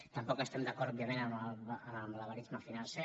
tampoc estem d’acord òbviament amb el malabaris·me financer